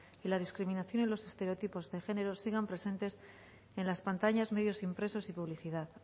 y la discriminación y los estereotipos de género siguen presentes en las pantallas medios impresos y publicidad